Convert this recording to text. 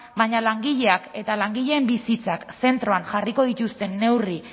baina langileak eta langileen bizitzak zentroan jarriko dituzten neurri